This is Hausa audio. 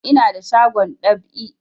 Ina da shagon dab'i